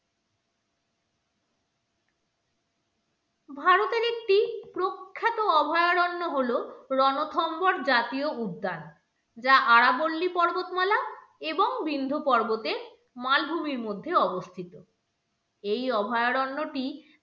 ভারতের একটি প্রখ্যাত অভয়ারণ্য হলো রণথম্বর জাতীয় উদ্যান যা আরাবল্লী পর্বতমালা এবং বিন্ধু পর্বতের মালভূমির মধ্যে অবস্থিত এই অভয়ারণ্যটি